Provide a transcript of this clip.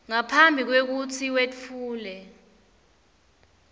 ngaphambi kwekutsi wetfule